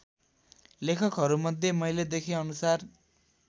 लेखहरूमध्ये मैले देखेअनुसार